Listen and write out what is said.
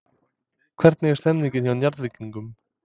Hvernig er stemningin hjá Njarðvíkingum?